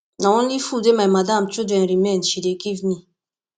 na only food wey my madam children remain she dey give me